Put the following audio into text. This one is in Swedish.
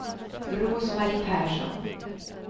Rose-Marie Persson